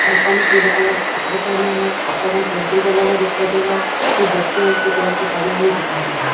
लड़को ने पिले कलर के कपडे पहने है हाथो में केंडल जला दिखाई दे रहा है कुछ बच्चे और कुछ औरते खड़ी दिखाई दे रही है।